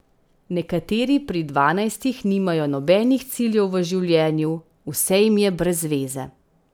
Nekateri pri dvanajstih nimajo nobenih ciljev v življenju, vse jim je brezveze.